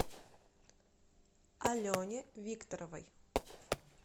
алене викторовой